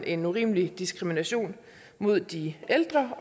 en urimelig diskrimination mod de ældre